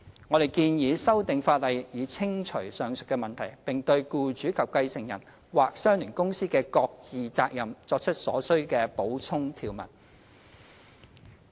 我們建議修訂法例以清除上述問題，並對僱主及繼承人或相聯公司的各自責任作出所需的補充條文。